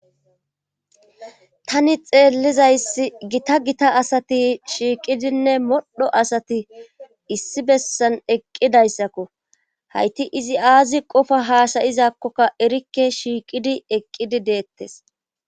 tani xeellizayssi gita gita asati shiiqidinne modho asati issi bessan eqqidayssakko hayti izi aazi qofa haasayizakkokka erikke shiiqidi eqqidi deettes